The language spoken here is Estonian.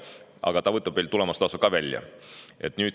Aga ta võtab veel tulemustasu ka välja.